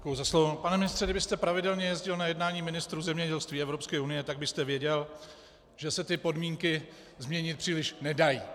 Pane ministře, kdybyste pravidelně jezdil na jednání ministrů zemědělství EU, tak byste věděl, že se ty podmínky změnit příliš nedají.